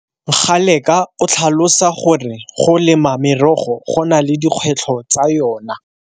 Ngaleka o tlhalosa gore go lema merogo go na le dikgwetlho tsa yona.